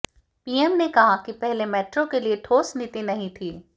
PM ने कहा कि पहले मेट्रो के लिए ठोस नीति नहीं थी